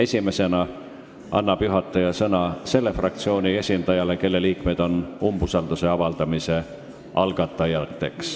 Esimesena annab juhataja sõna selle fraktsiooni esindajale, kelle liikmed on umbusalduse avaldamise algatanud.